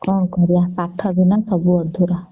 କଣ କରିବା ପାଠ ବିନା ସବୁ ଅଧୁରା